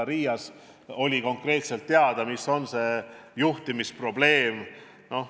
Ka Riias oli konkreetselt teada, mis on see juhtimisprobleem.